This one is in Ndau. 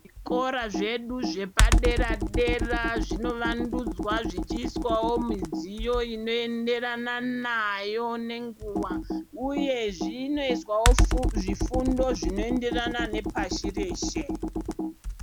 Zvikora zvedu zvepadera-dera zvinovandudzwa zvichiiswavo midziyo inoenderana nayo nenguva, uye zvinoswavo zvifundo zvinoenderana nepashi reshe.